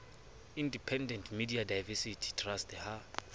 independent media diversity trust ha